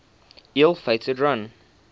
ill fated run